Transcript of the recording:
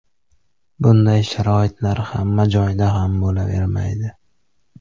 Bunday sharoitlar hamma joyda ham bo‘lavermaydi.